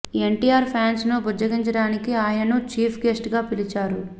NTR fans ను బుజ్జగించడానికి ఆయనను చీఫ్ గెస్ట్ గా పిలిచారు